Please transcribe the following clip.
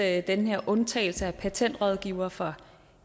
at den her undtagelse af patentrådgivere for